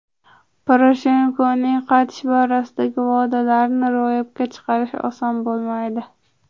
Poroshenkoning qaytish borasidagi va’dalarini ro‘yobga chiqarish oson bo‘lmaydi.